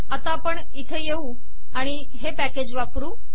आता आपण इथे येऊ आणि हे पॅकेज वापरू